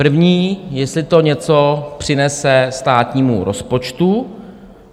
První, jestli to něco přinese státnímu rozpočtu.